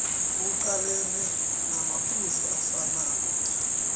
kuqalenwe namaphuzu afanako